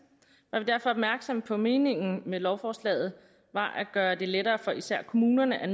var vi derfor opmærksomme på at meningen med lovforslaget var at gøre det lettere for især kommunerne at